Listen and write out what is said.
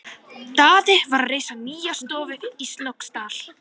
Daði var að reisa nýja stofu í Snóksdal.